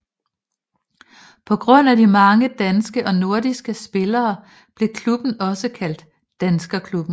På grund af de mange danske og nordiske spillere blev klubben også kaldt Danskerklubben